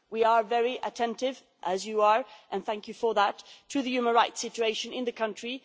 We are very attentive, as you are and thank you for that to the human rights situation in the country.